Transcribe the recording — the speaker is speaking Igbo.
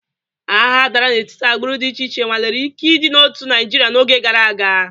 Agha dara n'etiti agbụrụ dị iche iche nwalere ike ịdị n'otu Naịjirịa n'oge gara aga.